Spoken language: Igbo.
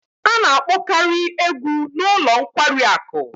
A na-akpokari egwu n'ulo nkwari aku